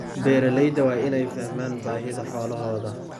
Beeralayda waa inay fahmaan baahida xoolahooda.